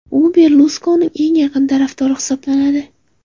U Berluskonining eng yaqin tarafdori hisoblanadi.